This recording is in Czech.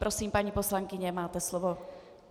Prosím, paní poslankyně, máte slovo.